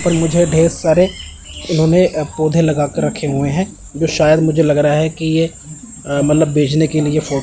पर मुझे ढेर सारे इन्होंने पौधे लगाकर रखे हुए हैं जो शायद मुझे लग रहा कि यह मतलब बेचने के लिए फो--